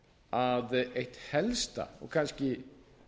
að eitt helsta og kannski